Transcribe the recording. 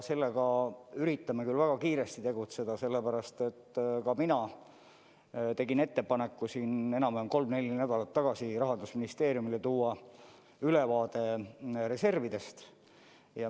Sellega üritame küll väga kiiresti tegutseda, ka mina tegin kolm-neli nädalat tagasi Rahandusministeeriumile ettepaneku tuua ülevaade reservidest.